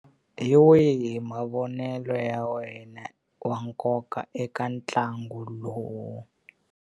Hi wihi mavonelo ya wena wa nkoka eka ntlangu lowu?